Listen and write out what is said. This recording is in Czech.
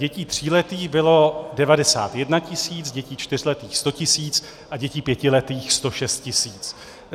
Dětí tříletých bylo 91 tisíc, dětí čtyřletých 100 tisíc a dětí pětiletých 106 tisíc.